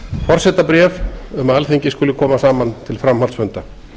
forsetabréf um að alþingi skuli koma saman til framhaldsfunda